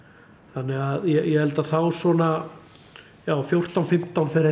þannig að ég held að þá svona já fjórtán fimmtán fer